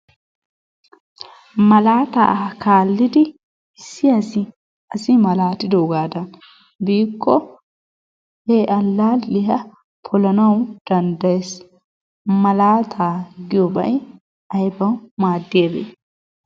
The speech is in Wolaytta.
Malaataa kaallidi issi asi asi malaatidoogaadan biikko he allaalliya polanawu danddaayees. Malaataa giyoobay aybaa maaddiyabee?